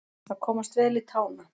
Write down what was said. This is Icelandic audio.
Að komast vel í tána